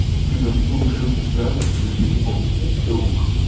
ты танцуешь очень странно тебе прямиком в тик ток